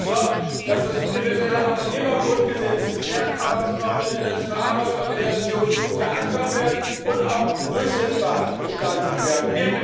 Wir haben dafür gesorgt, dass das universelle Arbeitnehmergrundgesetz, die Kernarbeitsnormen der Internationalen Arbeitsorganisation verankert werden und auch durchsetzbar gestaltet werden.